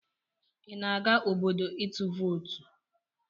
Ị na-aga obodo itụ vootu?